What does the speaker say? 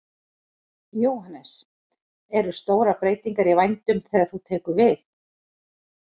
Jóhannes: Eru stórar breytingar í vændum þegar þú tekur við?